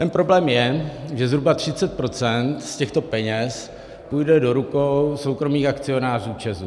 Ten problém je, že zhruba 30 % z těchto peněz půjde do rukou soukromých akcionářů ČEZu.